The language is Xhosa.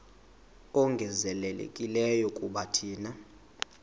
ongezelelekileyo kuba thina